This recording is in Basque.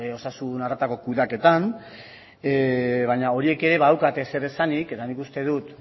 osasun harretarako kudeaketan baina horiek ere badaukate zer esanik eta nik uste dut